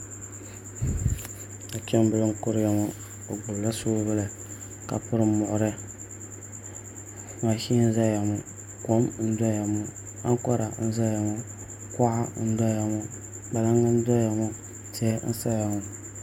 Nachimbili n kuriya ŋo o gbubila soobuli ka piri muɣuri mashin n ʒɛya ŋo kom n doya ŋo amkora n ʒɛya ŋo kuɣa n doya ŋo kpalaŋ n doya ŋo tihi n saya ŋo